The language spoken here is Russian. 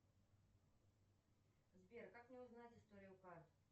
сбер как мне узнать историю карт